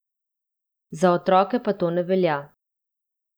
Za otroke pa to ne velja.